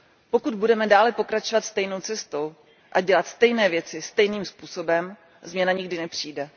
Pokud budeme dále pokračovat stejnou cestou a dělat stejné věci stejným způsobem, změna nikdy nepřijde.